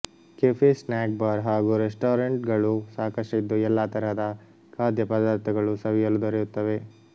cafe snack bar ಹಾಗೂ restaurant ಗಳು ಸಾಕಷ್ಟಿದ್ದು ಎಲ್ಲಾ ತರಹದ ಖಾದ್ಯಪದಾರ್ಥಗಳು ಸವಿಯಲು ದೊರೆಯುತ್ತವೆ